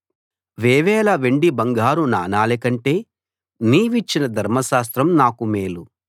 వేవేల వెండి బంగారు నాణాలకంటే నీ విచ్చిన ధర్మశాస్త్రం నాకు మేలు